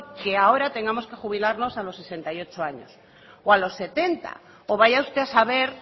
que ahora tengamos que jubilarnos a los sesenta y ocho años o a los setenta o vaya usted a saber